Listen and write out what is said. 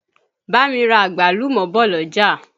Bá mi ra àgbálùmọ́ bọ̀ l'ọ́jà.